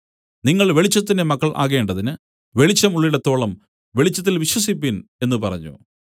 നിങ്ങൾ വെളിച്ചത്തിന്റെ മക്കൾ ആകേണ്ടതിന് വെളിച്ചം ഉള്ളിടത്തോളം വെളിച്ചത്തിൽ വിശ്വസിപ്പിൻ എന്നു പറഞ്ഞു